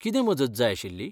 कितें मजत जाय आशिल्ली?